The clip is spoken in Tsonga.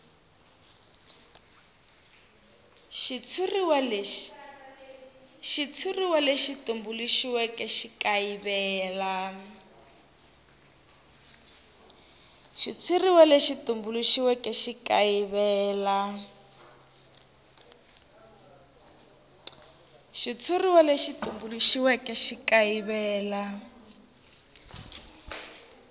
xitshuriwa lexi tumbuluxiweke xi kayivela